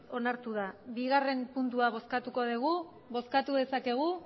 onartu da bigarren puntua bozkatuko dugu bozkatu dezakegu